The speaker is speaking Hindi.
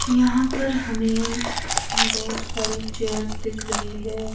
यहां पर हमें बहोत सारी चेयर्स दिख रही है।